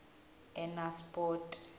enasipoti